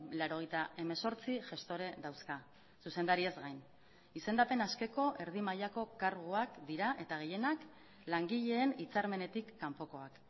laurogeita hemezortzi gestore dauzka zuzendariaz gain izendapen askeko erdi mailako karguak dira eta gehienak langileen hitzarmenetik kanpokoak